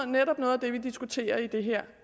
netop noget af det vi diskuterer i det her